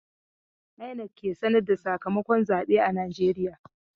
INEC ke sanar da sakamakon zabe a najeriya.